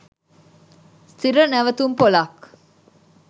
ස්ථීර නැවතුම්පොළක්